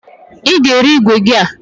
Ị ga-ere igwe gị a!